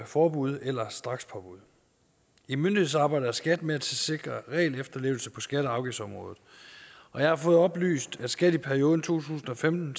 forbud eller strakspåbud i myndighedsarbejdet er skat med til at sikre regelefterlevelse på skatte og afgiftsområdet og jeg har fået oplyst at skat i perioden to tusind og femten